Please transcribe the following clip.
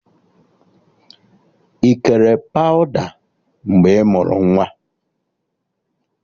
Ị kere pawụda mgbe ị mụrụ nwa?